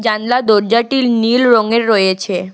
জানলা দরজাটি নীল রঙের রয়েছে।